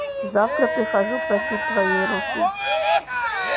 завтра прихожу просить твоей руки